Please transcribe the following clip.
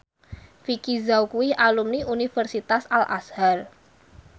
Vicki Zao kuwi alumni Universitas Al Azhar